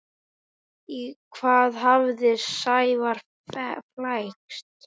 Í hvað hafði Sævar flækst?